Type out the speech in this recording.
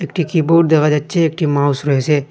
একটি কিবোর্ড দেখা যাচ্ছে একটি মাউস রয়েছে।